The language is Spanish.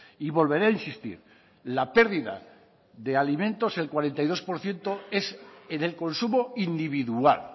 y volveré a insistir la pérdida de alimentos el cuarenta y dos por ciento es en el consumo individual